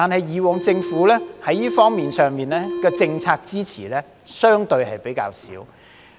可是，政府以往在這方面上的政策支持是相對比較少的。